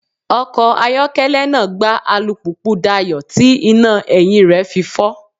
Ọkọ̀ ayokele náà gbá alùpùpù Dayọ̀ tí iná ẹ̀yìn rẹ̀ fi fọ́.